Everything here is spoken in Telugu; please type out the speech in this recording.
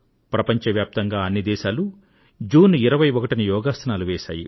ప్రపంచవ్యాప్తంగా అన్ని దేశాలు జూన్ 21న యోగాసనాలు వేశాయి